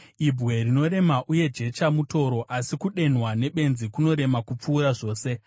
Ibwe rinorema uye jecha mutoro, asi kudenhwa nebenzi kunorema kupfuura zvose.